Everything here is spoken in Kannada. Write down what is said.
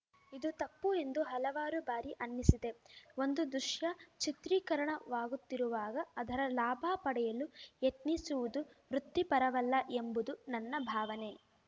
ಇದು ತಪ್ಪು ಎಂದು ಹಲವಾರು ಬಾರಿ ಅನ್ನಿಸಿದೆ ಒಂದು ದೃಶ್ಯ ಚಿತ್ರೀಕರಣವಾಗುತ್ತಿರುವಾಗ ಅದರ ಲಾಭ ಪಡೆಯಲು ಯತ್ನಿಸುವುದು ವೃತ್ತಿಪರವಲ್ಲ ಎಂಬುದು ನನ್ನ ಭಾವನೆ